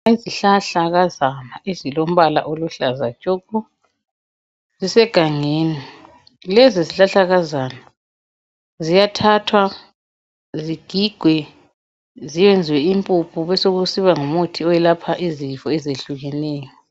Izihlahlakazana ezilombala oluhlaza tshoko, zisegangeni. Lezi zihlahlakazana ziyathathwa, zigigwe, ziyenziwe impuphu, besokusiba ngumuthi owelapha izifo ezehlukeneyo.